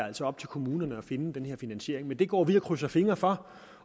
altså op til kommunerne at finde den her finansiering og det går vi og krydser fingre for